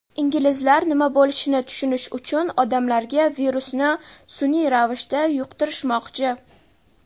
inglizlar nima bo‘lishini tushunish uchun odamlarga virusni sun’iy ravishda yuqtirishmoqchi.